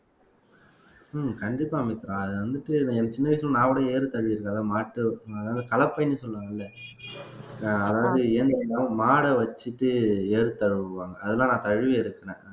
உம் கண்டிப்பா மித்ரா அது வந்துட்டு எனக்கு சின்ன வயசுல நான் கூட ஏறு தழுவி இருக்கேன் அத மாட்டு அதாவது கலப்பைன்னு சொல்லுவாங்க அதாவது மாட வச்சுட்டு ஏறு தழுவுவாங்க அதெல்லாம் நான் தழுவி எடுக்கறேன்